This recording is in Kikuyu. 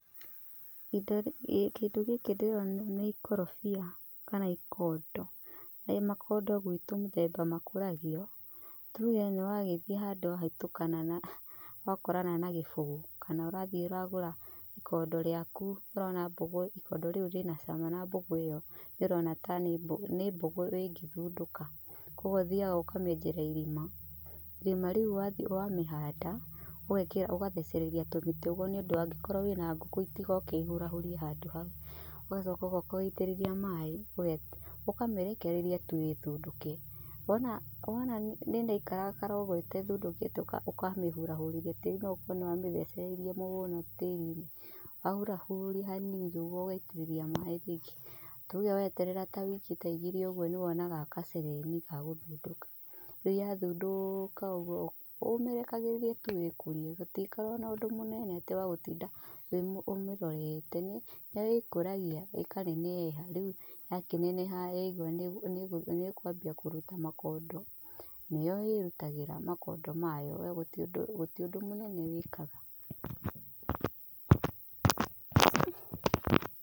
Kĩndũ gĩkĩ ndĩrona nĩ ikorobia kana ikondo. Na makondo gwitũ mũthemba makũragio, tuge nĩ wagĩthiĩ handũ wahĩtũkana na, wakorana na gĩbũgũ, kana ũrathiĩ ũragũra ikondo rĩaku ũrona mbũgũ ikondo rĩu rĩna cama na mbũgũ ĩyo ũrona ta nĩ mbũgũ ĩngĩthundũka. Koguo ũthiaga ũkamĩenjera irima, irima rĩu wathiĩ wamĩhanda ũgekĩra, ũgathecereria tũmĩtĩ ũguo nĩ ũndũ angĩkorwo wĩna ngũkũ itigoke ihurahurie handũ hau. Ũgacoka ũgoka ũgaitĩrĩria maĩ, ũkamĩrekereria tu ĩthundũke. Wona nĩ ĩraikarakara ũguo ĩtathundũkĩte ũkamĩhũrahũrithia tĩri no gũkorwo nĩ wamĩthecereire mũno tĩri-inĩ. Wahuriahuria hanini nĩguo ũgaitĩrĩria maĩ ringĩ. Tuge weterera ta wiki ta igĩrĩ ũguo nĩ wonaga gacegeni ga gũthundũka. Rĩu yathundũka ũguo ũmĩrekagĩrĩria tu ĩkũrie, gũtikoragwo na ũndũ mũnene atĩ wa gũtinda ũmĩrorete, nĩ ĩkũragai ĩkaneneha. Rĩu yakĩneneha yaiguo nĩ ĩkũambia kũruta makondo, nĩyo ĩrutagĩra makondo mayo we gũtirĩ ũndũ mũnene wĩkaga.